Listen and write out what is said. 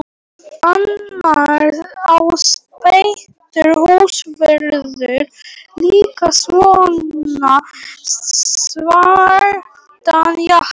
Annars á Pétur húsvörður líka svona svartan jakka.